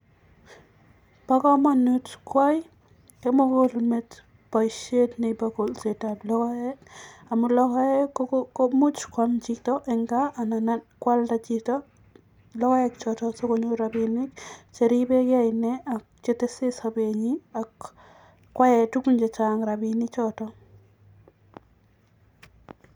Bokomonut koyai kimukulmet boishet nebo kolsetab lokoek amun lokoek komuch kwam chito en kaa anan kwalda chito lokoek choton sikonyor rabinik cheribeke inee ak chetese sobenyin ak koyaen tukuk chechang rabini choton.